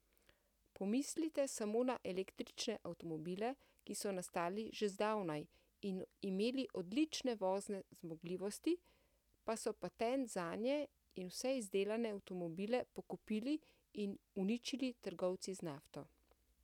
Pomislite samo na električne avtomobile, ki so nastali že zdavnaj in imeli odlične vozne zmogljivosti, pa so patent zanje in vse izdelane avtomobile pokupili in uničili trgovci z nafto.